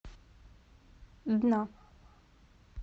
дна